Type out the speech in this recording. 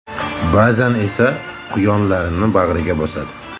Ba’zan esa quyonlarni bag‘riga bosadi.